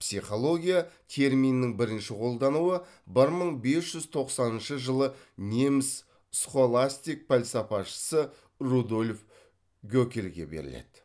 психология терминінің бірінші қолдануы бір мың бес жүз тоқсаныншы жылы неміс схоластик пәлсапасышы рудольф гөкельге беріледі